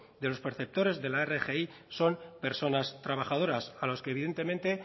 de los perceptores de la rgi son personas trabajadoras a los que evidentemente